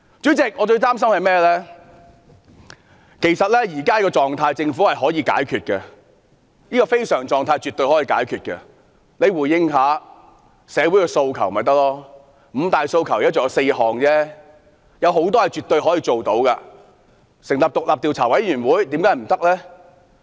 主席，其實政府絕對可以解決現時的非常狀態，只要政府稍為回應社會訴求，"五大訴求"只剩下4項，有些訴求是可以回應的，例如成立獨立調查委員會。